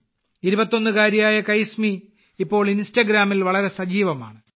21 കാരിയായ കൈസ്മി ഇപ്പോൾ ഇൻസ്റ്റാഗ്രാമിൽ വളരെ സജീവമാണ്